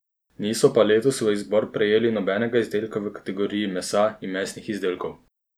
Niso pa letos v izbor prejeli nobenega izdelka v kategoriji mesa in mesnih izdelkov.